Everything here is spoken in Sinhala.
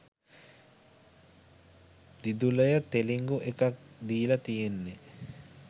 දිදුලය තෙළිඟු එකක් දීල තියෙන්නෙ